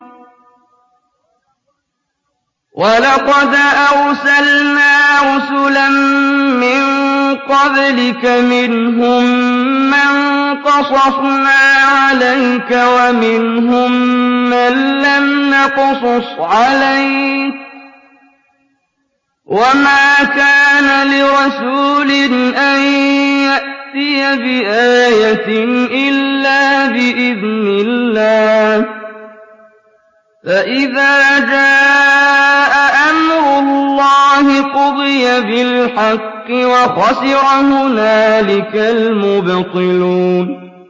وَلَقَدْ أَرْسَلْنَا رُسُلًا مِّن قَبْلِكَ مِنْهُم مَّن قَصَصْنَا عَلَيْكَ وَمِنْهُم مَّن لَّمْ نَقْصُصْ عَلَيْكَ ۗ وَمَا كَانَ لِرَسُولٍ أَن يَأْتِيَ بِآيَةٍ إِلَّا بِإِذْنِ اللَّهِ ۚ فَإِذَا جَاءَ أَمْرُ اللَّهِ قُضِيَ بِالْحَقِّ وَخَسِرَ هُنَالِكَ الْمُبْطِلُونَ